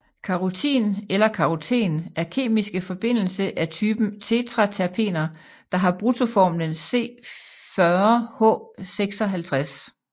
Karotin eller karoten er kemiske forbindelse af typen tetraterpener der har bruttoformlen C40H56